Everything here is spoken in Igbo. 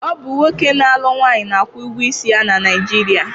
Ọ bụ nwoke na alụ nwunye na akwụ ụgwọ isi ya Naijiria